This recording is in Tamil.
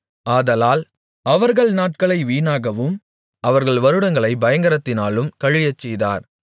ஆதலால் அவர்கள் நாட்களை வீணாகவும் அவர்கள் வருடங்களைப் பயங்கரத்திலும் கழியச்செய்தார்